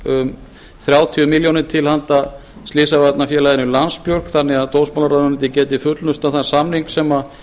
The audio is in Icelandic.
um þrjátíu milljónir króna til handa slysavarnafélaginu landsbjörgu þannig að dómsmálaráðuneytið geti fullnustað þann samning sem